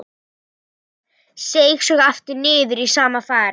Seig svo aftur niður í sama farið.